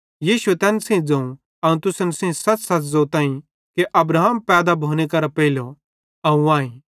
यीशुए तैन सेइं ज़ोवं अवं तुसन सेइं सच़सच़ ज़ोताईं कि अब्राहम पैदा भोने करां पेइलो अवं आईं